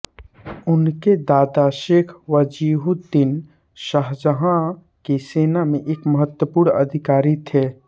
उनके दादा शेख वजीहुद्दीन शाहजहाँ की सेना में एक महत्वपूर्ण अधिकारी थे